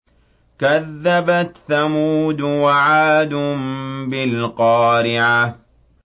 كَذَّبَتْ ثَمُودُ وَعَادٌ بِالْقَارِعَةِ